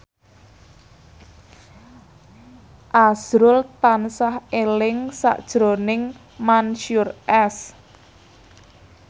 azrul tansah eling sakjroning Mansyur S